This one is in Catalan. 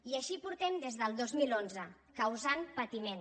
i així portem des del dos mil onze causant patiment